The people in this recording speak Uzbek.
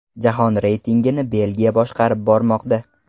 Jahon reytingini Belgiya boshqarib bormoqda.